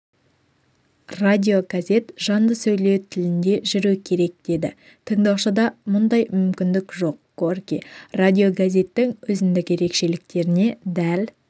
радиогазет жанды сөйлеу тілінде жүру керек деді тыңдаушыда мұндай мүмкіндік жоқ мгорький радиогазеттің өзіндік ерекшеліктеріне дәл